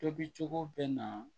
Tobicogo bɛ na